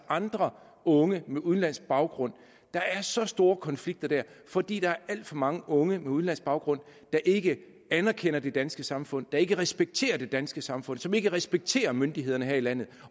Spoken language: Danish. andre unge med udenlandsk baggrund der er så store konflikter der fordi der er alt for mange unge med udenlandsk baggrund der ikke anerkender det danske samfund der ikke respekterer det danske samfund som ikke respekterer myndighederne her i landet